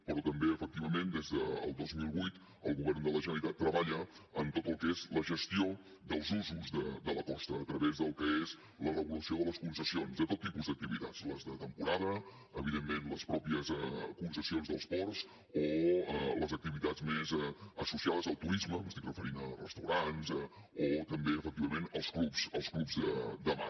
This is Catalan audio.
però també efectivament des del dos mil vuit el govern de la generalitat treballa en tot el que és la gestió dels usos de la costa a través del que és la regulació de les concessions de tot tipus d’activitats les de temporada evidentment les mateixes concessions dels ports o les activitats més associades al turisme m’estic referint a restaurants o també efectivament els clubs els clubs de mar